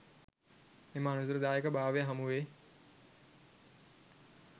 එම අනතුරුදායක භාවය හමුවේ